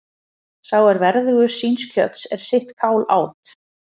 Sá er verðugur síns kjöts er sitt kál át.